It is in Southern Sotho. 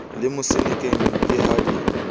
le mosenekeng ke ha di